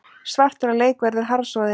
Svartur á leik verður harðsoðin